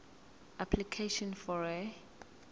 application for a